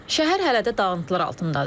Şəhər hələ də dağıntılar altındadır.